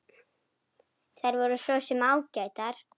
Þær voru svo sem ágætar.